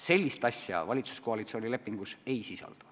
Sellist asja valitsuskoalitsiooni lepingus ei sisaldu.